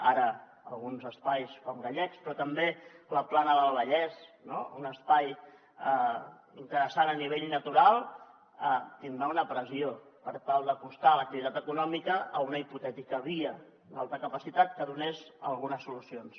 ara alguns espais com gallecs però també la plana del vallès un espai interessant a nivell natural tindran una pressió per tal d’acostar l’activitat econòmica a una hipotètica via d’alta capacitat que donés algunes solucions